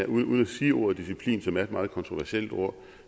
uden at sige ordet disciplin som er et meget kontroversielt ord